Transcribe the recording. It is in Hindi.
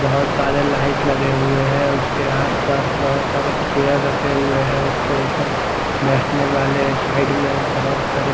बहुत सारे लाइट लगे हुए हैं उसके आसपास बहुत सारे चेयर रखे हुए हैं उसके ऊपर बैठने वाले साइड में बहुत बड़े--